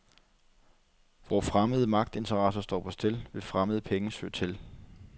Hvor fremmede magtinteresser står på spil, vil fremmede penge søge til.